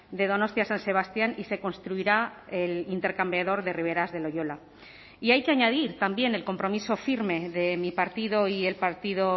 de donostia san sebastián y se construirá el intercambiador de riberas de loyola y hay que añadir también el compromiso firme de mi partido y el partido